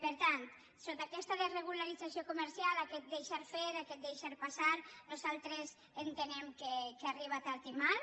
per tant sota aquesta desregularització comercial aquest deixar fer aquest deixar passar nosaltres entenem que arriba tard i mal